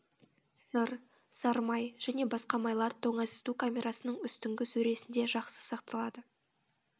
сыр сары май және басқа майлар тоңазыту камерасының үстіңгі сөресінде жақсы сақталады